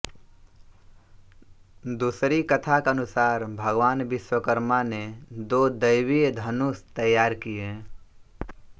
दूसरी कथा के अनुसार भगवान विश्वकर्मा ने दो दैवीय धनुष तैयार किए